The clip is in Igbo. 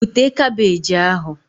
Bute kabeeji ahụ!